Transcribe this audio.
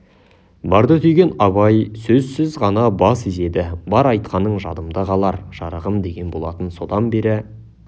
барды түйген абай сөзсіз ғана бас изеді бар айтқаның жадымда қалар жарығым деген болатын содан бері